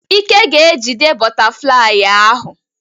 Ike ga-ejide bọtaflai ahụ.